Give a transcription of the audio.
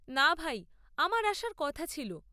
না ভাই, আমার আসার কথা ছিল।